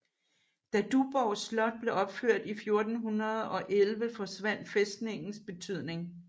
Da Duborg Slot blev opført i 1411 forsvandt fæstningens betydning